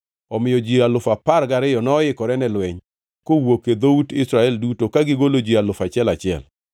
Omiyo ji alufu apar gariyo (12,000) noikore ne lweny, kowuok e dhout Israel duto ka gigolo ji alufu achiel achiel (1,000).